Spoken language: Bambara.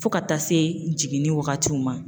Fo ka taa se jiginni wagatiw ma